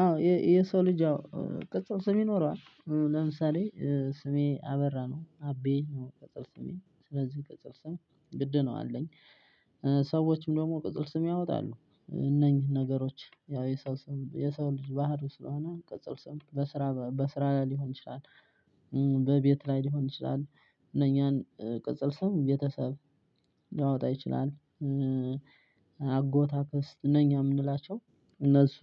አዎ የሰው ልጅ ቅጽል ስም ይኖረዋል ለምሳሌ ስሜ አበራ ነው አቤ ነው ቅጽል ስሜ ስለዚህ ቅጽል ስም ግድ ነው አለኝ። ሰዎችም ደግሞ ቅጽል ስም ያወጣሉ እነኚህ ነገሮች ያው የሰው ስም የሰው ልጅ ባህሩ ስለሆነ ቅጽል ስም በስራ ሊሆን ይችላል፣ በቤት ላይ ሊሆን ይችላል እነኛን ቅጽል ሰው ቤተሰብ ሊያወጣ ይችላል። አጎት፣ አክስት እነኛ የምንላቸው እነሱ